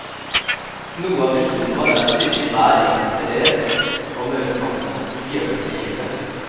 Noe av visjonen vår er å styrke hver enkelt elev til å møte samfunnet, ikke gjøre dem spesielle.